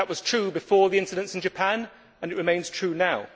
That was true before the incidents in Japan and it remains true now.